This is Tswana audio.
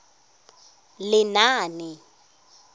lenaane